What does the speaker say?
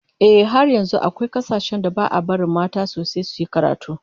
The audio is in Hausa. Ehh, har yanzu akwai kasashen da ba'a barin mata sosai suyi karatu